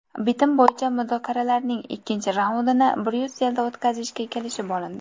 Bitim bo‘yicha muzokaralarning ikkinchi raundini Bryusselda o‘tkazishga kelishib olindi.